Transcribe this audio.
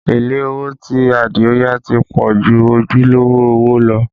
Èlé owó tí Adio yá ti pọ̀ ju ojúlówó owó lọ